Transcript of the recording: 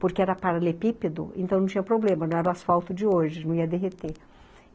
porque era paralepípedo, então não tinha problema, não era o asfalto de hoje, não ia derreter.